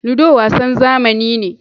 Ludo wasan zamani ne.